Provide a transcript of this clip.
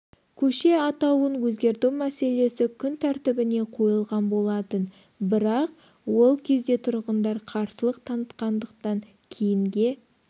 көше атауын өзгерту мәселесі күн тәртібіне қойылған болатын бірақ ол кезде тұрғындар қарсылық танытқандықтан кейінге